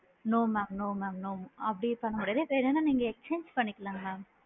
No ma'a, no mam no mam அப்படி பண்ண முடியாது வேணுன்னா நீங்க exchange பண்ணிக்கலாம் mam